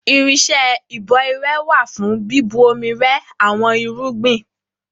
Irinṣẹ́ ìbò irẹ wà fún bíbu omi rẹ àwọn irúgbìn.